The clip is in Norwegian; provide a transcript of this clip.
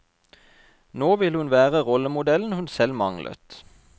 Nå vil hun være rollemodellen hun selv manglet.